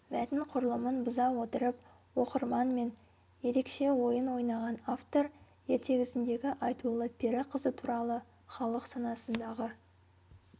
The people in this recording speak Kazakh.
мәтін құрылымын бұза отырып оқырман мен ерекше ойын ойнаған автор ертегісіндегі айтулы пері қызы туралы халық санасындағы